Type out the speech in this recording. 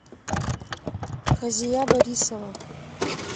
хазия борисова